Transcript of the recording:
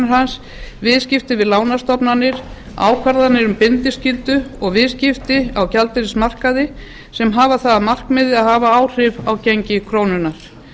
hans viðskipti við lánastofnanir ákvarðanir um bindiskyldu og viðskipti á gjaldeyrismarkaði sem hafa það að markmiði að hafa áhrif á gengi krónunnar